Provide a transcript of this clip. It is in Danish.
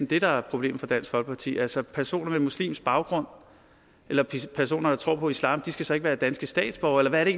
det der er problemet for dansk folkeparti altså personer med muslimsk baggrund eller personer der tror på islam skal så ikke være danske statsborgere eller hvad er det